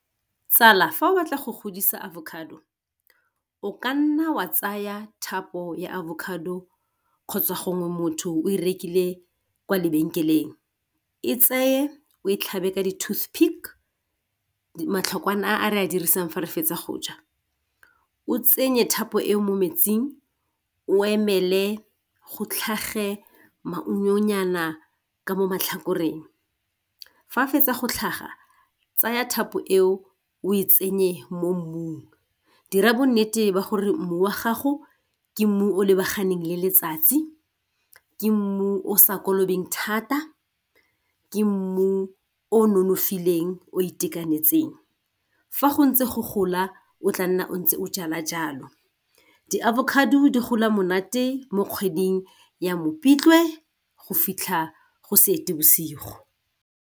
Tsala fa o batla go godisa avocado o ka nna wa tsaya thapo ya avocado kgotsa gongwe motho o rekile kwa lebenkeleng. E tseye o e tlhabe ka di tooth pick matlhokwana a re a dirisang fa re fetsa go ja. O tsenye thapo e mo metsing o emele go tlhage maungonyana ka mo matlhakoreng. Fa ke fetsa go tlhaga tsaya thapo e o e tsenye mo mmung dira bonnete ba gore mmu wa gago ke mmu o lebaganeng le letsatsi, ke mmu o sa kolobeng thata, ke mmu o nonofileng o itekanetseng. Fa go ntse go gola o tla nna o ntse o jala jalo, di-avocado di gola monate mo kgweding ya Mopitlwe go fitlha go Seetebosigo.